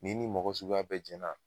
Ni ni mɔgɔ suguya bɛ jɛnna